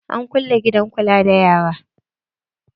An kulle gidan kula da yara.